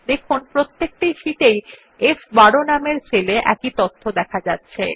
দেখুন প্রত্যেকটি শিট এই ফ12 নামের সেল এ একই তথ্য আছে